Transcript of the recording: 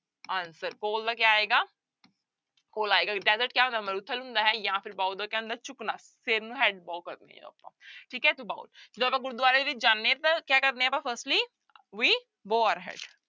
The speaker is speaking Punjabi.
Answer coal ਕੋਲ ਦਾ ਕਿਆ ਆਏਗਾ ਕੋਲਾ ਆਏਗਾ desert ਕਿਆ ਹੁੰਦਾ ਮਾਰੂਥਲ ਹੁੰਦਾ ਹੈ ਜਾਂ ਫਿਰ bow ਦਾ ਕਿਆ ਹੁੰਦਾ ਹੈ ਝੁਕਣਾ ਸਿਰ ਨੂੰ ਠੀਕ ਹੈ ਜਦੋਂ ਆਪਾਂ ਗੁਰਦੁਆਰੇ ਵਿੱਚ ਜਾਂਦੇ ਹਾਂ ਤਾਂ ਕਿਆ ਕਰਦੇ ਹਾਂ ਆਪਾਂ firstly we bow our head